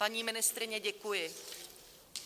Paní ministryně, děkuji.